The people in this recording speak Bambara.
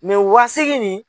o wa seegin nin